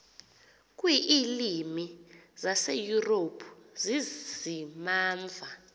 kwiilwimi zaseyurophu zizimamva